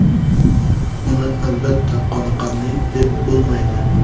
Buni albatta qoniqarli deb bo‘lmaydi.